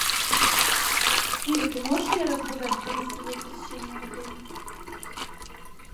сири ты можешь мне рассказать про гостевое посещение в отеле